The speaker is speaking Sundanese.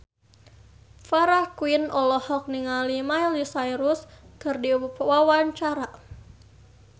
Farah Quinn olohok ningali Miley Cyrus keur diwawancara